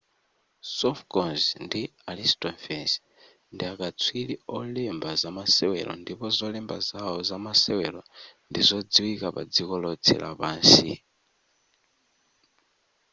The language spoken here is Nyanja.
sophocles ndi aristophanes ndiakaswiri olemba zamasewero ndipo zolemba zawo zamasewero ndi zodziwika padziko lotse lapansi